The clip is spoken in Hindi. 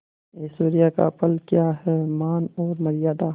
ऐश्वर्य का फल क्या हैमान और मर्यादा